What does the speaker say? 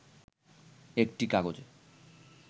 একটি কাগজে